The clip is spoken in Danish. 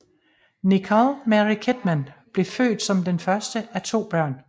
Nicole Mary Kidman blev født som den første af to børn